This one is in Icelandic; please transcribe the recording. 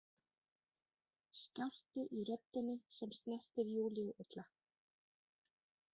Skjálfti í röddinni sem snertir Júlíu illa.